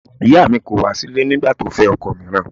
Ìyáà mi kọ̀ wá sílẹ̀ nígbà tí ó fẹ́ ọkọ mìíràn